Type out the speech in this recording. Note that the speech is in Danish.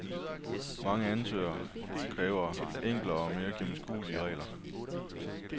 Mange ansøgere kræver enklere og mere gennemskuelige regler.